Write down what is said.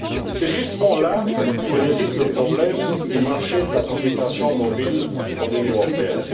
C'est justement là où réside le problème du marché de la communication mobile dans l'Union européenne.